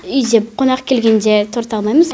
үйде қонақ келгенде торт алмаймыз